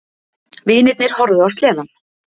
Vinirnir horfðu á sleðann.